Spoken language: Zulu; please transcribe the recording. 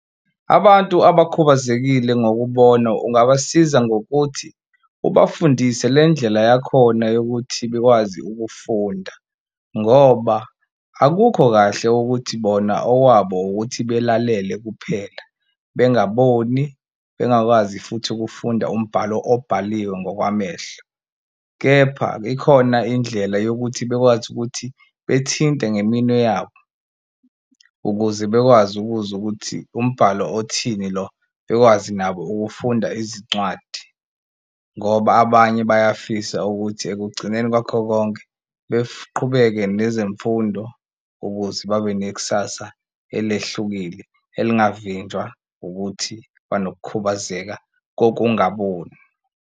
Abantu abakhubazekile ngokubona ungabasiza ngokuthi ubafundise le ndlela yakhona yokuthi bakwazi ukufunda ngoba akukho kahle ukuthi bona owabo ukuthi belalele kuphela bengaboni, bengakwazi futhi ukufunda umbhalo obhaliwe ngokwamehlo. Kepha ikhona indlela yokuthi bekwazi ukuthi bethinte ngeminwe yabo ukuze bekwazi ukuzwa ukuthi umbhalo othini lo, bekwazi nabo ukufunda izincwadi ngoba abanye bayafisa ukuthi ekugcineni kwakho konke nezemfundo ukuze babe nekusasa elehlukile elingavinjwa ukuthi banokukhubazeka kokungaboni.